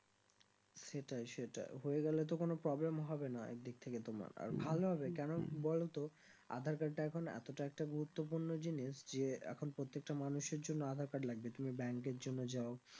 সেইটাই সেইটা হয়ে গেলে তো কোনো problem হবে না এক দিক থেকে তোমার আর ভালো হবে কেন বলো তো আধার card টা এখন এতোটা একটা গুরুত্বপূর্ণ জিনিস যে এখন প্রত্যেকটা মানুষের জন্য আধার card লাগবে তুমি bank এর জন্য যাও